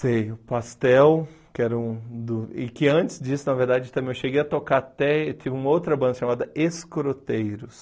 Sei, o Pastel, que era um do... E que antes disso, na verdade, também eu cheguei a tocar até... Eu tive uma outra banda chamada Escroteiros.